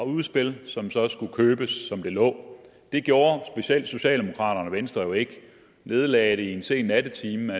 udspil som så skulle købes som det lå det gjorde specielt socialdemokraterne og venstre jo ikke de nedlagde det i en sen nattetime